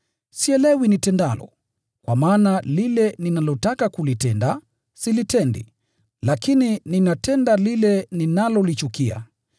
Sielewi nitendalo, kwa maana lile ninalotaka kulitenda, silitendi, lakini ninatenda lile ninalolichukia.